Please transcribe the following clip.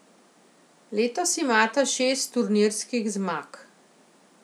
Letos imata šest turnirskih zmag.